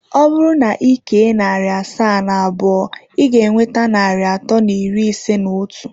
Ọ bụrụ na ị kee narị asaa na abụọ, ị ga-enweta narị atọ na iri ise na otu.